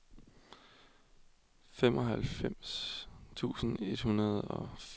femoghalvfems tusind et hundrede og fireogfirs